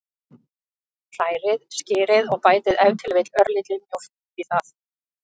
Hrærið skyrið og bætið ef til vill örlítilli mjólk út í það.